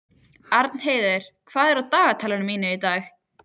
Arnheiður, hvað er í dagatalinu mínu í dag?